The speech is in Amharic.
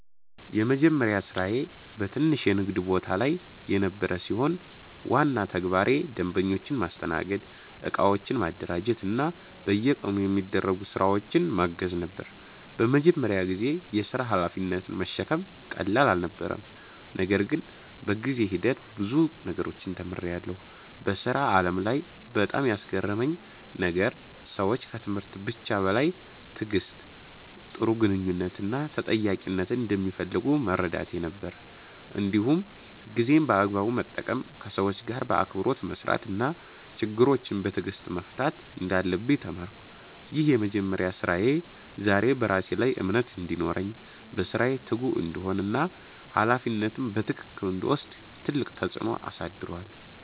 የመጀመሪያ ስራዬ በትንሽ የንግድ ቦታ ላይ የነበረ ሲሆን፣ ዋና ተግባሬ ደንበኞችን ማስተናገድ፣ እቃዎችን ማደራጀት እና በየቀኑ የሚደረጉ ስራዎችን ማገዝ ነበር። በመጀመሪያ ጊዜ የሥራ ሀላፊነትን መሸከም ቀላል አልነበረም፣ ነገር ግን በጊዜ ሂደት ብዙ ነገሮችን ተምሬያለሁ። በሥራ ዓለም ላይ በጣም ያስገረመኝ ነገር ሰዎች ከትምህርት ብቻ በላይ ትዕግሥት፣ ጥሩ ግንኙነት እና ተጠያቂነትን እንደሚፈልጉ መረዳቴ ነበር። እንዲሁም ጊዜን በአግባቡ መጠቀም፣ ከሰዎች ጋር በአክብሮት መስራት እና ችግሮችን በትዕግሥት መፍታት እንዳለብኝ ተማርኩ። ይህ የመጀመሪያ ስራዬ ዛሬ በራሴ ላይ እምነት እንዲኖረኝ፣ በስራዬ ትጉ እንድሆን እና ሀላፊነትን በትክክል እንድወስድ ትልቅ ተጽዕኖ አሳድሯል።